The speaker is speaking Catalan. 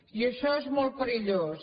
i això és molt perillós